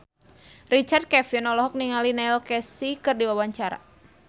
Richard Kevin olohok ningali Neil Casey keur diwawancara